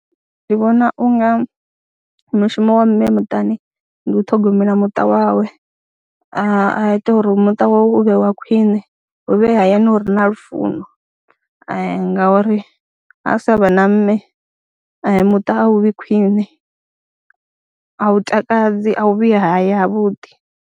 Ndi vhona u nga mushumo wa mme muṱani ndi u ṱhogomela muṱa wawe a ita uri muṱa wawe u vhe wa khwine, hu vhe hayani hu re na lufuno ngauri ha sa vha na mme muṱa a u vhi khwiṋe, a u takadzi, a hu vhi haya havhuḓi.